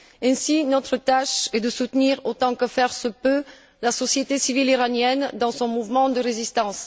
Ainsi, notre tâche est de soutenir autant que faire se peut la société civile iranienne dans son mouvement de résistance.